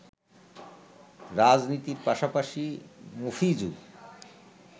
রাজনীতির পাশাপাশি মফিজু